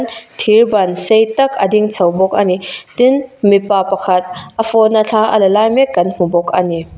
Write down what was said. thirban sei tak a ding chho bawk a ni tin mipa pakhat a phone a thla la lai mek kan hmu bawk a ni.